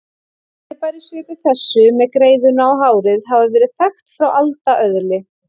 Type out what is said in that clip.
Fyrirbæri svipuð þessu með greiðuna og hárið hafa verið þekkt frá alda öðli.